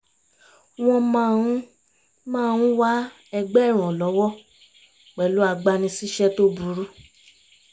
wọ́n máa ń máa ń wá ẹgbẹ́ ìrànlọ́wọ́ pẹ̀lú agbani-síṣẹ́ tó burú